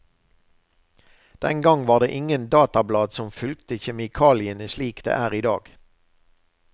Den gang var det ingen datablad som fulgte kjemikaliene slik det er i dag.